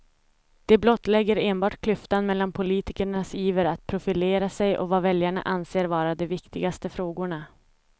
Det blottlägger enbart klyftan mellan politikernas iver att profilera sig och vad väljarna anser vara de viktigaste frågorna.